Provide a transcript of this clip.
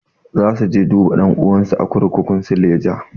Za su je duba ɗan'uwansu a kurkukun suleja.